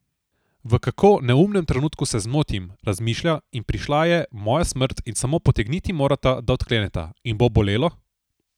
V kako neumnem trenutku se zmotim, razmišlja in Prišla je, moja smrt, in Samo potegniti morata, da odkleneta, in Bo bolelo?